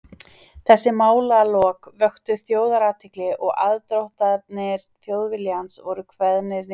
Þessi málalok vöktu þjóðarathygli, og aðdróttanir Þjóðviljans voru kveðnar niður.